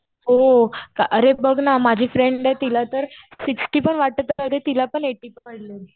हो. अरे बघ ना माझी फ्रेंड आहे. तिला तर सिक्स्टी पण वाटत नव्हतं. तिला पण एटी पडले.